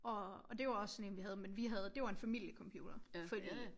Og og det var også sådan en vi havde men vi havde det var en familiecomputer fordi